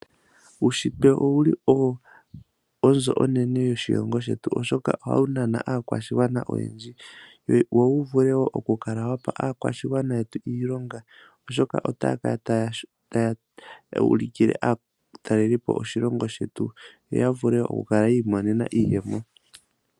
Uushitwe owuli owo onzo onene yoshilongo shetu, oshoka ohawu nana aakwashigwana oyendji, wo wuvule wo okukala wapa aakwashigwana yetu iilonga oshoka otaya kala taya ulikile aatalelipo oshilongo shetu, yo yavule okukala yiimonena iiyemo.